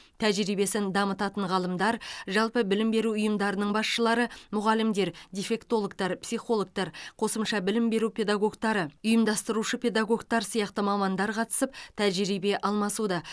тәжірибесін дамытатын ғалымдар жалпы білім беру ұйымдарының басшылары мұғалімдер дефектологтар психологтар қосымша білім беру педагогтары ұйымдастырушы педагогтар сияқты мамандар қатысып тәжірибе алмасуда